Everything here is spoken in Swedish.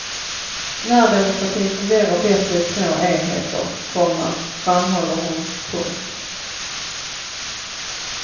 Närdemokratin fungerar bättre i små enheter, komma framhåller hon. punkt